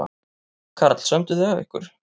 Karl: Sömdu þið af ykkur?